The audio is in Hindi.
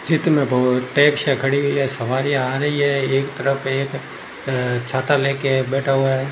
चित्र में बहुत टैक्सीयां खड़ी हुई है सवारियां आ रही है एक तरफ एक अह छाता ले के बैठा हुआ है।